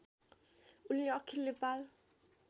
उनले अखिल नेपाल